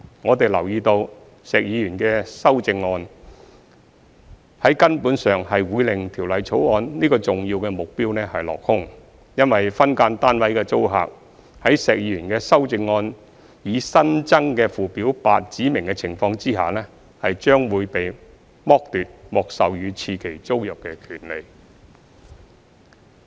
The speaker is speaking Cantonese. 我們留意到，石議員建議的修正案，將在根本上令《條例草案》這個重要目標落空，因為分間單位的租客，在石議員修正案擬新增的附表8指明的情況下，將被剝奪獲授予次期租賃的權利。